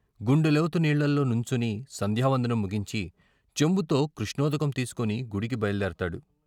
గుండెలోతు నీళ్ళలో నుంచొని సంధ్యావందనం ముగించి చెంబుతో కృష్ణోదకం తీసుకుని గుడికి బయల్దేరతాడు.